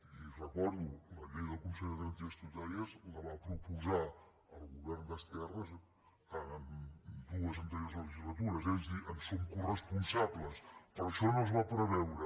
li ho recordo la llei del consell de garanties estatutàries la va proposar el govern d’esquerres en dues anteriors legislatures és a dir en som coresponsables però això no es va preveure